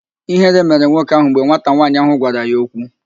Ịhere mere nwoke ahụ mgbe nwata nwaanyị ahụ gwara ya okwu